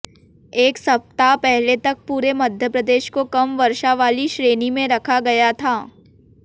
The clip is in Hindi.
एक सप्ताह पहले तक पूरे मध्यप्रदेश को कम वर्षा वाली श्रेणी में रखा गया था